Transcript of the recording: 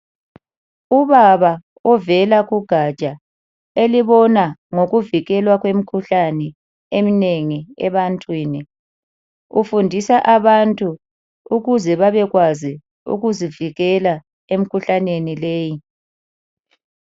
Ubaba ovela kugatsha elibona ngokuvikelwa kwemikhuhlane eminengi ebantwini, ufundisa abantu ukuze babekwazi ukuzivikela emikhuhlaneni leyi.